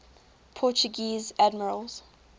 portuguese admirals